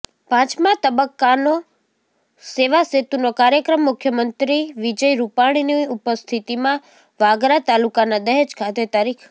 પાંચમા તબક્કાનો સેવાસેતુનો કાર્યક્મ મુખ્યમંત્રી વિજય રૃપાણીની ઉપસ્થિતિમાં વાગરા તાલુકાના દહેજ ખાતે તા